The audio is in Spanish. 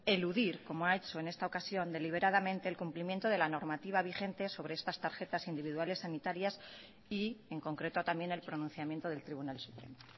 eludir como ha hecho en esta ocasión deliberadamente el cumplimiento de la normativa vigente sobre estas tarjetas individuales sanitarias y en concreto también el pronunciamiento del tribunal supremo